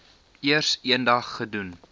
eers eendag gedoen